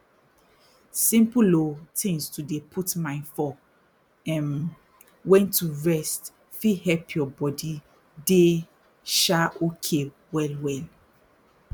simple oh tins like to dey put mind for um wen to rest fit help your body dey um okay well well